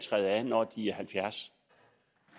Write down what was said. der er